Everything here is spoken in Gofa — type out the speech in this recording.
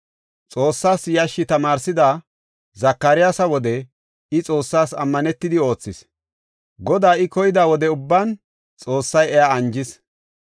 Xoossas yashshi tamaarsida Zakariyasa wode I Xoossas ammanetidi oothis. Godaa I koyida wode ubban Xoossay iya anjis.